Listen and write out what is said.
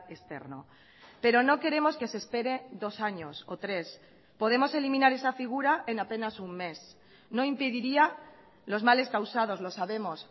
externo pero no queremos que se espere dos años o tres podemos eliminar esa figura en apenas un mes no impediría los males causados lo sabemos